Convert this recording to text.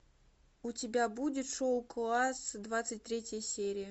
у тебя будет шоу класс двадцать третья серия